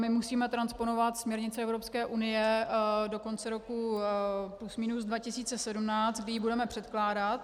My musíme transponovat směrnici Evropské unie do konce roku plus minus 2017, kdy ji budeme předkládat.